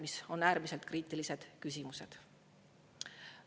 Need on äärmiselt kriitilised küsimused.